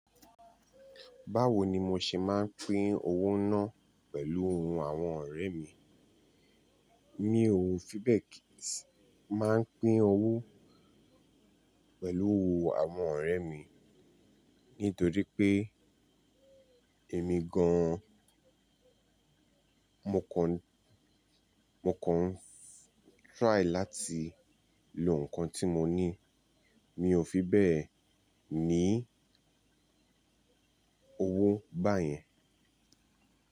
Báwo ni mo ṣe máa ń pín owó náà pẹ̀lú ohun àwọn ọ̀rẹ́ mi? Mi ò fi bẹ́ẹ̀ kí ì ṣi máa ń pín owó pẹ̀lú àwọn ọ̀rẹ́ mi. Nítorí pé èmi gan-an, mo kọ́ n, mo kọ́ n try láti lo nǹkan tí mo ní. Mi ò fi bẹ́ẹ̀ ní owó báyẹn.